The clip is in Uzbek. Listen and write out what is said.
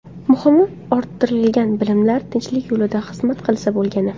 Muhimi, orttirilgan bilimlar tinchlik yo‘lida xizmat qilsa bo‘lgani.